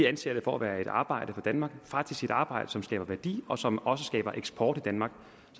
anser det for at være et arbejde for danmark faktisk et arbejde som skaber værdi og som også skaber eksport i danmark